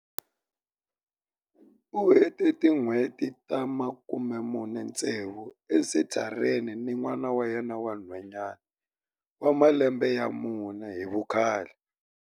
U hete tin'hweti ta 46 esenthareni ni n'wana wa yena wa nhwanyana wa malembe ya mune hi vukhale.